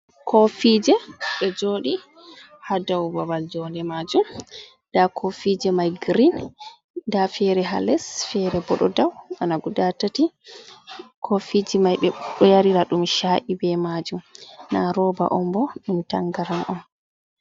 Kofije ɗo joɗi ha dau babal jonde majum, nda kofije mai green, nda fere ha les fere bo ɗo dow bana guda tati, kofije mai ɓe ɗo yarira ɗum sha’i be majum na roba on bo ɗum tangaran on.